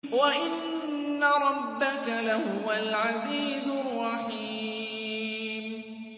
وَإِنَّ رَبَّكَ لَهُوَ الْعَزِيزُ الرَّحِيمُ